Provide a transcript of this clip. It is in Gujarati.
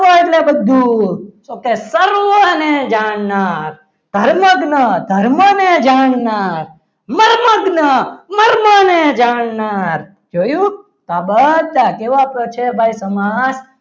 સ એટલે બધું okay સર્વને જાણનાર સર્વજ્ઞ ધર્મને જાણનાર મરમગ્ન મર્મને જાણનાર જોયું આ બધા કેવા છે સમાસ